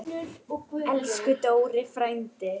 Elsku Dóri frændi.